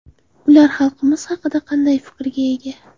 Ular xalqimiz haqida qanday fikrga ega?